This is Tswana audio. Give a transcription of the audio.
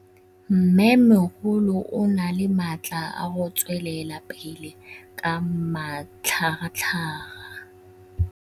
Mmêmogolo o na le matla a go tswelela pele ka matlhagatlhaga.